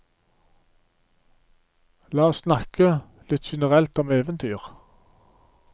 La oss snakke litt generelt om eventyr.